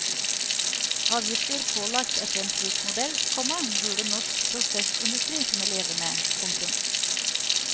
Avgifter pålagt etter en slik modell, komma burde norsk prosessindustri kunne leve med. punktum